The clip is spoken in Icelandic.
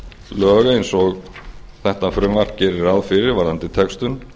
lög eins og þetta frumvarp gerir ráð fyrir varðandi textun